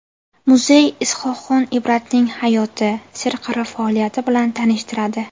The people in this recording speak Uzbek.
Muzey Is’hoqxon Ibratning hayoti, serqirra faoliyati bilan tanishtiradi.